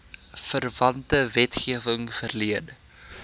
verwante wetgewing verleen